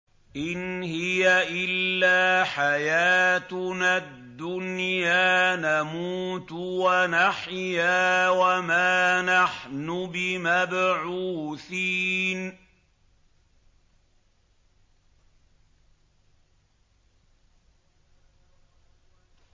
إِنْ هِيَ إِلَّا حَيَاتُنَا الدُّنْيَا نَمُوتُ وَنَحْيَا وَمَا نَحْنُ بِمَبْعُوثِينَ